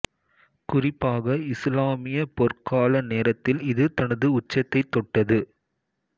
குறிப்பாக இசுலாமிய பொற்கால நேரத்தில் இது தனது உச்சத்தை தொட்டது